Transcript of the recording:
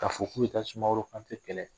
K'a fɔ k'u ye taa sumaworo Kante kɛlɛ